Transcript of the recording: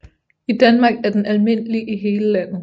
I Danmark er den almindelig i hele landet